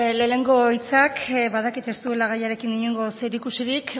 lehenengo hitzak badakit ez duela gaiarekin inongo zerikusirik